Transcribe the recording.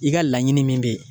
I ka laɲini min be ye